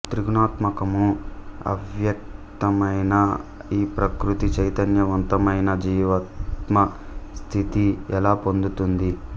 త్రిగుణాత్మకము అవ్యక్త్యమైన ఈ ప్రకృతి చైతన్యవంతమైన జీవాత్మ స్థితి ఎలా పొందుతుంది